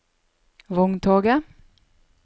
vogntoget